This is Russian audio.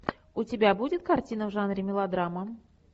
у тебя будет картина в жанре мелодрама